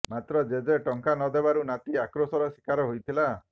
ମାତ୍ର ଜେଜେ ଟଙ୍କା ନଦେବାରୁ ନାତି ଆକ୍ରୋଶର ଶିକାର ହୋଇଥିଲା